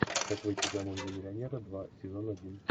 как выйти замуж за миллионера два сезон один